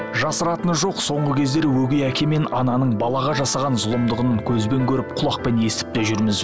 жасыратыны жоқ соңғы кездері өгей әке мен ананың балаға жасаған зұлымдығының көзбен көріп құлақпен естіп те жүрміз